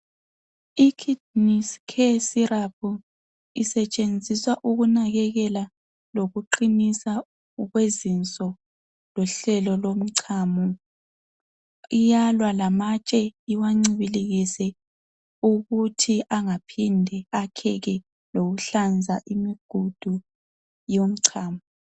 Ikidneys Care Syrup isetshenziswa ukunakekela lokuqiniswa kwezinso lohlelo lomchamo. Iyalwa lamatshe iwancibilikise ukuthi ingaphindi akheke lokuhlanza imigudu yomchamo.